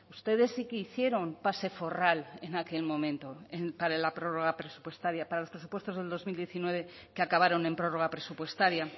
ustedes sí que hicieron pase forral en aquel momento para la prórroga presupuestaria para los presupuestos del dos mil diecinueve que acabaron en prórroga presupuestaria